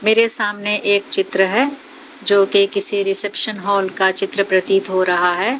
मेरे सामने एक चित्र है जो कि किसी रिसेप्शन हॉल का चित्र प्रतित हो रहा है।